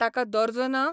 ताका दर्जो ना?